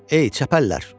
"Ey çəpəllər!